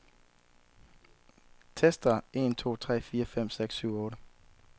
Tester en to tre fire fem seks syv otte.